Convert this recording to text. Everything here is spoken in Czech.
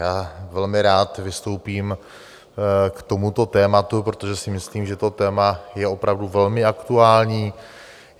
Já velmi rád vystoupím k tomuto tématu, protože si myslím, že to téma je opravdu velmi aktuální.